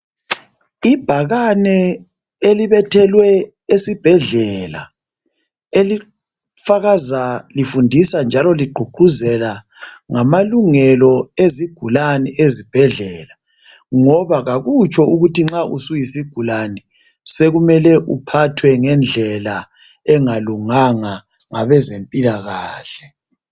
Ibhakane elibethelwe esibhedlela elifakaza lifundisa njalo ligqugquzela ngamalungelo ezigulane ezibhedlela ngoba akutsho ukuthi nxa usuyisigulane sekumele uphathwe ngendlela engalunganga ngabezempilakahle.